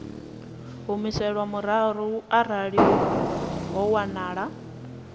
humiselwa murahu arali ho wanala